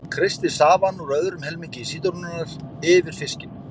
Kreistið safann úr öðrum helmingi sítrónunnar yfir fiskinn.